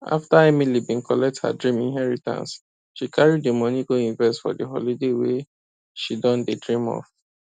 after emily been collect her dream inheritance she carry the money go invest for the holiday wey she don dey dream of